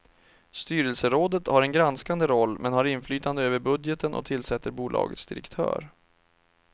Styrelserådet har en granskande roll, men har inflytande över budgeten och tillsätter bolagets direktör.